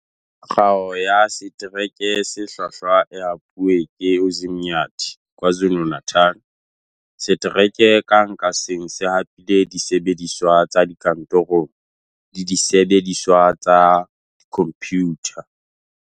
Kgao ya Setereke se Hlwahlwa e hapuwe ke Umzinyathi KwaZulu-Natal. Setereke kang ka seng se hapile disebediswa tsa dikantorong le disebe diswa tsa dikhomphutha.